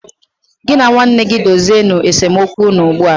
Gị na nwanne gị dozie nu esemokwu unu ugbu a